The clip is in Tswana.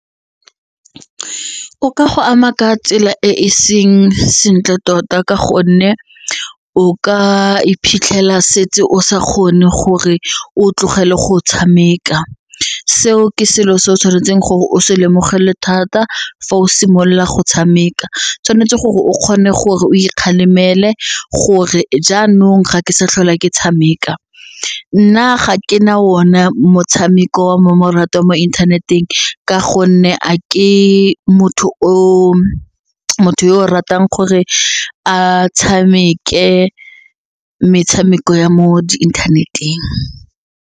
O ka go ama ka tsela e e seng sentle tota ka gonne o ka iphitlhela setse o sa kgone gore o tlogele go tshameka, seo ke selo se o tshwanetseng gore o se lemogele thata fa o simolola go tshameka tshwanetse gore o kgone gore o ikgalemela le gore jaanong ga ke sa tlhola ke tshameka. Nna ga ke na ona motshameko wa mmamoratwa wa mo inthaneteng ka gonne a ke motho yo o ratang gore a tshameke metshameko ya mo internet-eng.